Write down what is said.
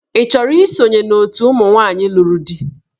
Ị chọrọ isonye na òtù ụmụ nwaanyị lụrụ di?